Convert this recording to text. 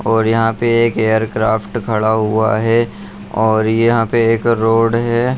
और यहां पे एक एयर क्राफ्ट खड़ा हुआ है और यहां पे एक रोड है।